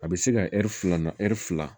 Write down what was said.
A bɛ se ka ɛri fila na ɛri fila